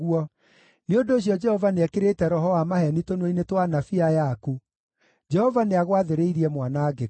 “Nĩ ũndũ ũcio Jehova nĩekĩrĩte roho wa maheeni tũnua-inĩ twa anabii aya aku. Jehova nĩagwathĩrĩirie mwanangĩko.”